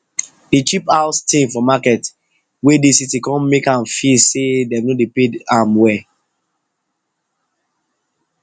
de cheap house thing for market wey dey city com make ahm feel say dem no dey pay ahm well